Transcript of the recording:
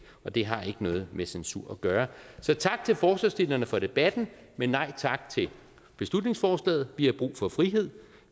og det har ikke noget med censur at gøre så tak til forslagsstillerne for debatten men nej tak til beslutningsforslaget vi har brug for frihed